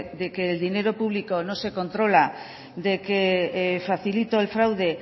que del dinero público no se controla de que facilito el fraude